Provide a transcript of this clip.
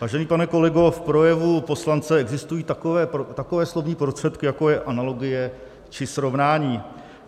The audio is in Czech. Vážený pane kolego, v projevu poslance existují takové slovní prostředky, jako je analogie či srovnání.